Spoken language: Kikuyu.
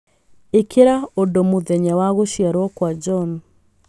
Ĩkĩra ũndũ mũthenya wa gũciarwo kwa John